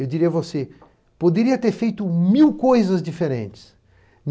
Eu diria a você, poderia ter feito mil coisas diferentes.